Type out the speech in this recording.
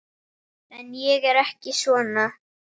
En ég er ekki svona.